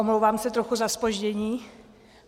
Omlouvám se trochu za zpoždění.